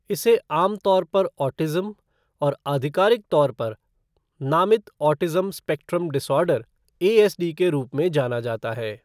इसे आमतौर पर ऑटिज़्म और आधिकारिक तौर पर नामित ऑटिज़्म स्पेक्ट्रम डिसऑर्डर, एएसडी के रूप में जाना जाता है।